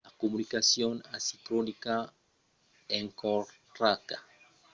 la comunicacion asincròna encoratja a prendre de temps per la refleccion e la reaccion cap als autres